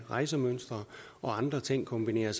rejsemønstre og andre ting kombinere